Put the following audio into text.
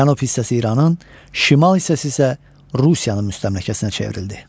Cənub hissəsi İranın, şimal hissəsi isə Rusiyanın müstəmləkəsinə çevrildi.